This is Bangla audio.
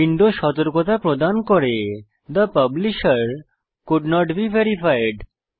উইন্ডো সতর্কতা প্রদান করে থে পাবলিশের কোল্ড নট বে ভেরিফাইড